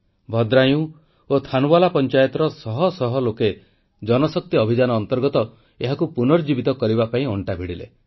ଭଦ୍ରାୟୁଁ ଓ ଥାନ୍ୱାଲା ପଂଚାୟତର ଶହ ଶହ ଲୋକେ ଜଳଶକ୍ତି ଅଭିଯାନ ଅନ୍ତର୍ଗତ ଏହାକୁ ପୁନରୁଦ୍ଧାର କରିବା ପାଇଁ ଅଂଟା ଭିଡ଼ିଲେ